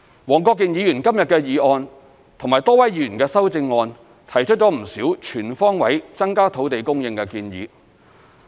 黃國健議員今天的議案和多位議員的修正案提出了不少全方位增加土地供應的建議。